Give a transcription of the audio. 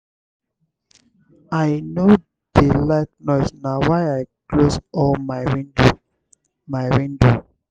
i no dey like noise na why i close all my window. my window.